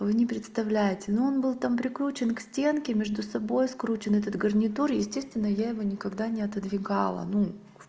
вы не представляете но он был там прикручен к стенке между собой скручен этот гарнитур естественно я его никогда не отодвигал ну